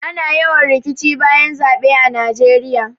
Ana yawan rikici bayan zaɓe a najeiya